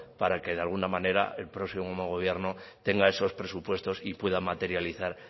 para que de alguna manera el próximo gobierno tenga esos presupuestos y pueda materializar